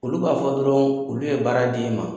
Olu b'a fɔ dɔrɔn olu ye baara d'e ma.